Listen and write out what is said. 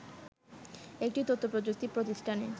একটি তথ্যপ্রযুক্তি প্রতিষ্ঠানে